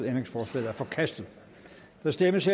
ændringsforslaget er forkastet der stemmes